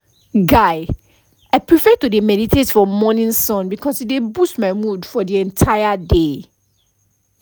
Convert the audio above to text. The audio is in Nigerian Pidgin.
oya press pause — to meditate even for five minutes dey change how i dey feel inside